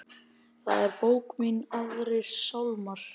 Það er bók mín Aðrir sálmar.